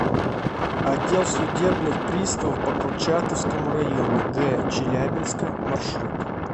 отдел судебных приставов по курчатовскому району г челябинска маршрут